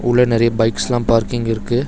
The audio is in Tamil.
உள்ள நெறைய பைக்ஸ்லா பார்க்கிங் இருக்கு.